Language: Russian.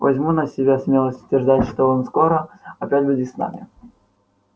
возьму на себя смелость утверждать что он скоро опять будет с нами